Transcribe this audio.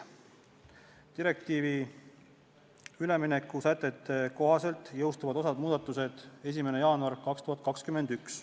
Direktiivi ülemineku sätete kohaselt jõustub osa muudatusi 1. jaanuaril 2021.